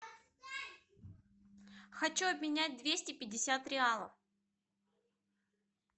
хочу обменять двести пятьдесят реалов